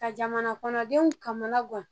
Ka jamana kɔnɔdenw kamana gan